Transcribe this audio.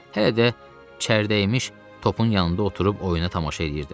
Hələ də çərdəmiş topun yanında oturub oyuna tamaşa eləyirdim.